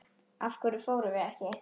Af hverju fórum við ekki?